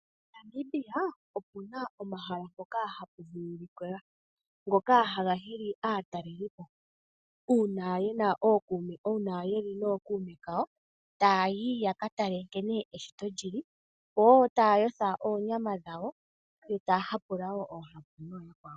Namibia okuna omahala mpoka hapu vulukilwa, ngoka haga hili aatalelipo. Uuna yeli nookuume kawo taa yi yaka tale nkene eshito lili, yo wo taa yotha oonyama dhawo, etaa hapula wo oohapu nooyakwawo.